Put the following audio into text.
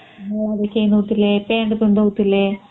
.......ଥିଲେ ପେଣ୍ଟ ପିନ୍ଧାଉ ଥିଲେ